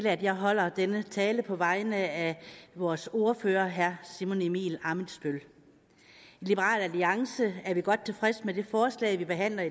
at jeg holder denne tale på vegne af vores ordfører herre simon emil ammitzbøll i liberal alliance er vi godt tilfredse med det forslag der behandles